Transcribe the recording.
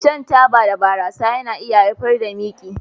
Shan taba da barasa na iya haifar da miki